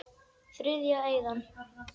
Þriðja eyðan.